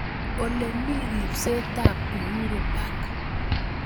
Olemi riipsetap Uhuru park